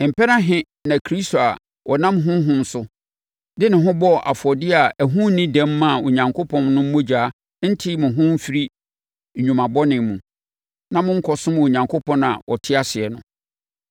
mpɛn ahe na Kristo a ɔnam Honhom so, de ne ho bɔɔ afɔdeɛ a ɛho nni dɛm maa Onyankopɔn no mogya rente mo ho mfiri nnwuma bɔne mu, na mo nkɔsom Onyankopɔn a ɔte ase no?